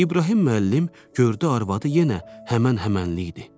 İbrahim müəllim gördü arvadı yenə həmən-həmənlik idi.